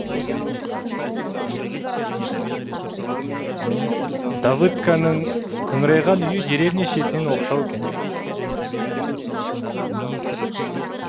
давыдканың қыңырайған үйі деревня шетінде оқшау екен